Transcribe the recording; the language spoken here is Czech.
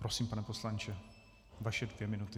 Prosím, pane poslanče, vaše dvě minuty.